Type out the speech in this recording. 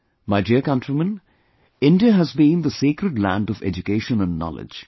My dear countrymen, India has been the sacred land of education and knowledge